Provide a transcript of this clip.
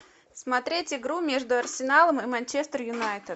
смотреть игру между арсеналом и манчестер юнайтед